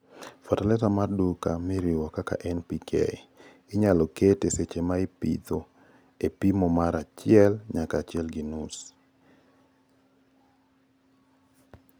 fertilizer mar duka moriwo kaka NPK(20:20:0 kata 23:23:0 kata mavuno) inyalo ket seche maipitho e pimo mar achiek nyaka achiel gi nus (50-70 kg) ka eka kalure gi nyak mar lowo.